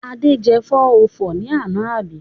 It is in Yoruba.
Ade jẹ 404 lánàá àbí?